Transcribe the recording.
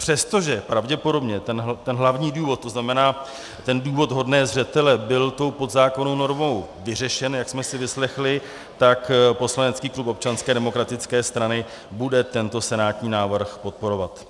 Přestože pravděpodobně ten hlavní důvod, to znamená ten důvod vhodný zřetele, byl tou podzákonnou normou vyřešen, jak jsme si vyslechli, tak poslanecký klub Občanské demokratické strany bude tento senátní návrh podporovat.